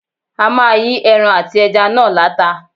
A máa yí ẹran àti ẹja náà láta.